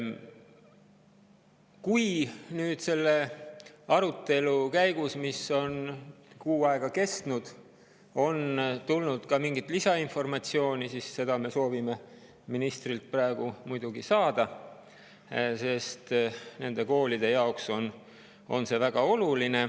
Kui nüüd selle arutelu käigus, mis on kuu aega kestnud, on tulnud ka mingisugust lisainformatsiooni, siis seda me soovime ministrilt muidugi saada, sest nende koolide jaoks on see väga oluline.